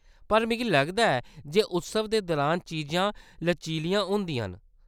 पर मिगी लगदा ऐ जे उत्सव दे दुरान चीजां लचीलियां होंदियां न।